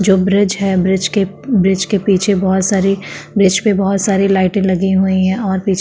जो ब्रिज है ब्रिज के ब्रिज के पीछे बहोत सारी ब्रिज पे बहोत सारी लाइटे लगी हुई हैं और पीछे --.